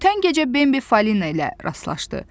Ötən gecə Bembi Falina ilə rastlaşdı.